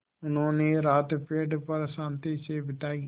उन्होंने रात पेड़ पर शान्ति से बिताई